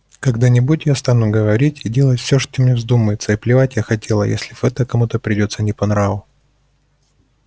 когда-нибудь я стану говорить и делать всё что мне вздумается и плевать я хотела если это кому-то придётся не по нраву